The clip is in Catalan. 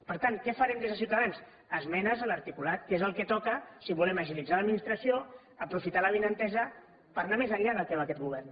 per tant què farem des de ciutadans esmenes a l’articulat que és el que toca si volem agilitzar l’administració aprofitar l’avinentesa per anar més enllà del que va aquest govern